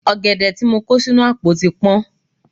Ọ̀gẹ̀dẹ̀ tí mo kó sínú àpò tí tán.